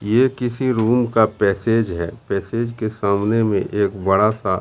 ये किसी रूम का पैसेज है पैसेज के सामने में एक बड़ा सा--